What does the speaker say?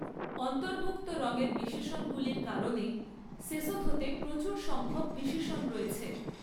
অন্তর্ভুক্ত রঙের বিশেষণগুলির কারণে সেসোথোতে প্রচুর সংখ্যক বিশেষণ রয়েছে।